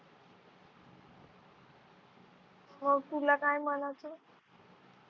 हो तुला काय म्हणायचं